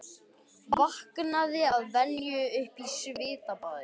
Vaknaði að venju upp í svitabaði.